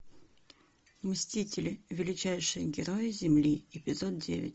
мстители величайшие герои земли эпизод девять